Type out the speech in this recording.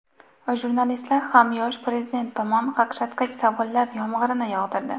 Jurnalistlar ham yosh prezident tomon qaqshatqich savollar yomg‘irini yog‘dirdi.